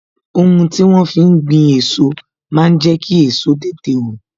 Ohun tí wón fi ń gbin èso máa ń jẹ kí èso tètè wù